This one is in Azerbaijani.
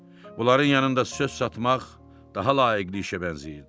Bunların yanında söz satmaq daha layiq işə bənzəyirdi.